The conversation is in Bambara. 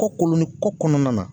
Kɔ koloni kɔ kɔnɔna na